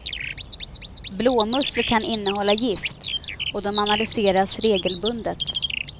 Blåmusslor kan innehålla gift och de analyseras regelbundet.